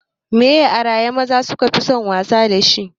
Me ye ayara maza su kafi son wasa dashi?